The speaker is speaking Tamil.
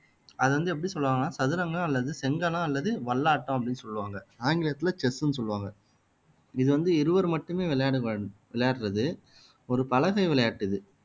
அது வந்து எப்படி சொல்லுவாங்கன்னா சதுரங்கம் அல்லது செங்கணம் அல்லது வல்லாட்டம் அப்படின்னு சொல்லுவாங்க ஆங்கிலத்துல செஸ்ன்னு சொல்லுவாங்க இது வந்து இருவர் மட்டுமே விளையாடு விளையாடுறது ஒரு பலகை விளையாட்டு இது